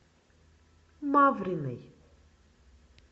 мавриной